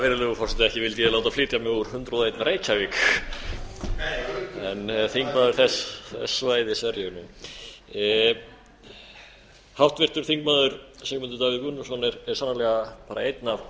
virðulegur forseti ekki vildi ég láta flytja mig úr hundrað og einn reykjavík nei örugglega en þingmaður þess svæðis er ég nú háttvirtur þingmaður sigmundur davíð gunnlaugsson er sannarlega bara einn af